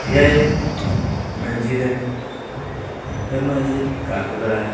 यह एक मस्जिद है यह मस्जिद काफी बड़ा है।